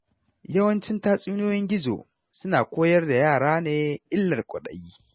Yawancin tatsuniyoyin gizo suna koyar da yara ne illar kwaɗayi.